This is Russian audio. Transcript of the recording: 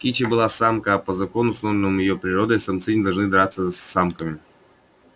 кичи была самка а по закону установленному его породой самцы не должны драться с самками